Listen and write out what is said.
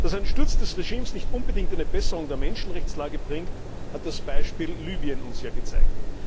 Dass ein Sturz des Regimes nicht unbedingt eine Besserung der Menschenrechtslage bringt, hat das Beispiel Libyen uns ja gezeigt.